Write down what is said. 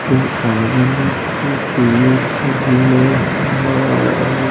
ऊ आदमी टोपीयो पहिनले हई।